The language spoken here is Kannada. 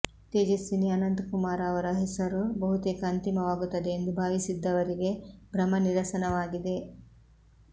ತೇಜಸ್ವಿನಿ ಅನಂತ್ ಕುಮಾರ್ ಅವರ ಹೆಸರು ಬಹುತೇಕ ಅಂತಿಮವಾಗುತ್ತದೆ ಎಂದು ಭಾವಿಸಿದ್ದವರಿಗೆ ಭ್ರಮನಿರಸನವಾಗಿದೆ